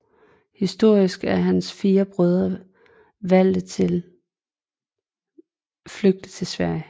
Horik og hans fire brødre valgte at flygte til Sverige